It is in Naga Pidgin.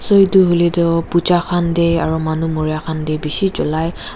toh etu hoiley toh puja khan tey aro manu muria khan tey bishi cho lai ar--